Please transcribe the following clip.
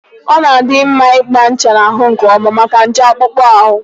Ọ na-adị mma ịgba ncha n'ahụ nkeọma maka nje akpụkpọ ahụ.